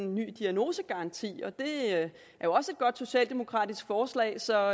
en ny diagnosegaranti og det er jo også et godt socialdemokratisk forslag så